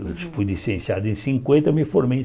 Eu fui licenciado em cinquenta e me formei em